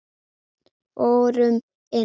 Förum inn.